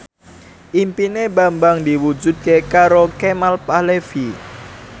impine Bambang diwujudke karo Kemal Palevi